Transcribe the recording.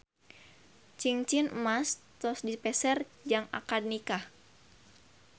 Cingcin emas tos dipeser jang akad nikah